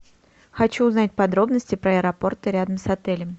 хочу узнать подробности про аэропорты рядом с отелем